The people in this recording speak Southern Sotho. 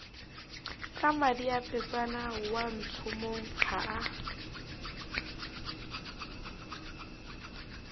ka mmadiepetsana watshomong ha a